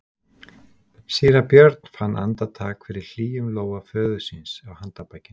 Síra Björn fann andartak fyrir hlýjum lófa föður síns á handarbakinu.